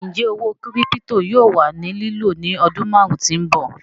Ńjẹ̀ òwó kírípítò yóò wà ní lìló ní ọdún máàrùn tí n bọ̀?